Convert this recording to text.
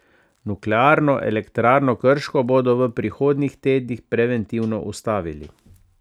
Nuklearno elektrarno Krško bodo v prihodnjih tednih preventivno ustavili.